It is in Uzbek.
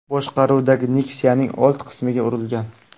boshqaruvidagi Nexia’ning old qismiga urilgan.